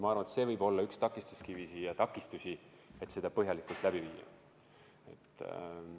Ma arvan, et see võib olla üks takistuskivisid, et seda põhjalikult läbi viia.